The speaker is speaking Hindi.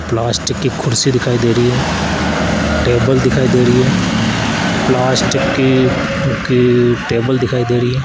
प्लास्टिक की कुर्सी दिखाई दे रही है टेबल दिखाई दे रही है प्लास्टिक की की टेबल दिखाई दे रही है।